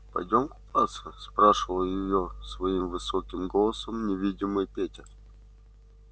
пойдём купаться спрашивал её своим высоким голосом невидимый петя